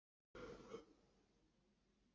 Feykir, hvað er klukkan?